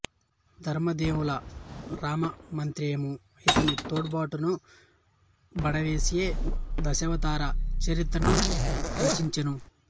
ధరణిదేవుల రామమంత్రియు ఇతని తోడ్పాటును బడసియే దశావతార చరితను రచించెను